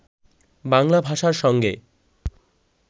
বাংলা ভাষার সঙ্গে